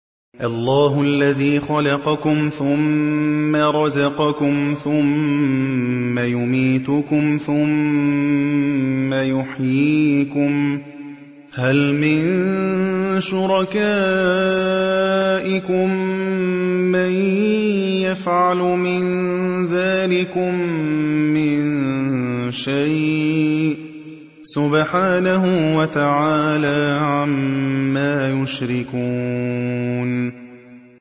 اللَّهُ الَّذِي خَلَقَكُمْ ثُمَّ رَزَقَكُمْ ثُمَّ يُمِيتُكُمْ ثُمَّ يُحْيِيكُمْ ۖ هَلْ مِن شُرَكَائِكُم مَّن يَفْعَلُ مِن ذَٰلِكُم مِّن شَيْءٍ ۚ سُبْحَانَهُ وَتَعَالَىٰ عَمَّا يُشْرِكُونَ